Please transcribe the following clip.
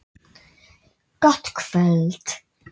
Gott kvöld!